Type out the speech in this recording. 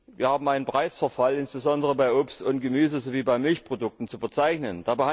Wir haben einen Preisverfall insbesondere bei Obst und Gemüse sowie bei Milchprodukten zu verzeichnen.